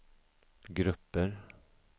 grupper